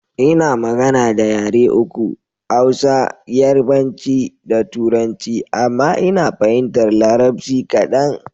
Ina magana da yare uku; Hausa, yarabanci da turanci. Amma Ina fahimtar larabci kaɗan.